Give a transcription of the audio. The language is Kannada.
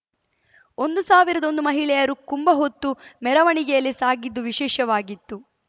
ಒಂದು ಸಾವಿರದ ಒಂದು ಮಹಿಳೆಯರು ಕುಂಭಹೊತ್ತು ಮೆರವಣಿಗೆಯಲ್ಲಿ ಸಾಗಿದ್ದು ವಿಶೇಷವಾಗಿತ್ತು